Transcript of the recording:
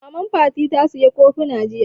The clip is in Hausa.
Maman Fati ta saya kofuna jiya